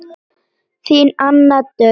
Þín Anna Döggin.